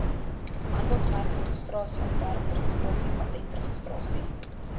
handelsmerkregistrasie ontwerpregistrasie patentregistrasie